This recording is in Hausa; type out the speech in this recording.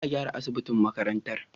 Za a gyara asibitin makarantar.